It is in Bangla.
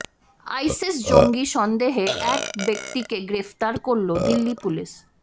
আইসিস জঙ্গি সন্দেহে এক ব্যক্তিকে গ্রেফতার করল দিল্লি পুলিশ